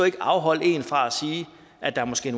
ikke afholde en fra at sige at der måske